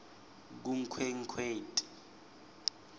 kunkhwekhweti